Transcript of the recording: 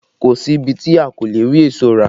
Kò sí ibi tí a kò ti le rí èso rà